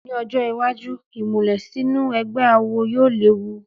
Ní ọjọ́ iwájú, ìmùlẹ̀ sínú ẹgbẹ́ awo yóò léwu